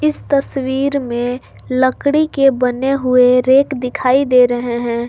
इस तस्वीर में लकड़ी के बने हुए रैक दिखाई दे रहे हैं।